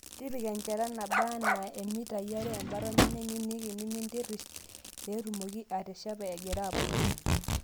Tipika enchata naaba anaa imitai are embata ornyanyai nieniki nimintirrish, peetumoki ateshepa egira abulu.